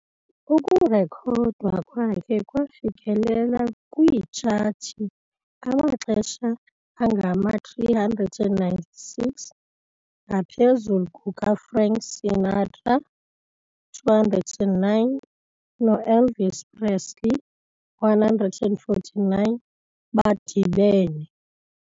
Ukurekhodwa kwakhe kwafikelela kwiitshathi amaxesha angama-396, ngaphezulu kukaFrank Sinatra, 209, no-Elvis Presley, 149, badibene.